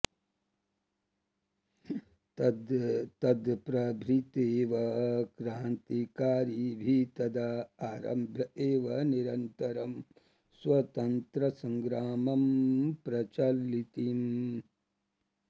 तत्प्रभृत्येव क्रान्तिकारिभिः तदा आरभ्य एव निरंतरं स्वतन्त्रतासंग्रामं प्रचालितम्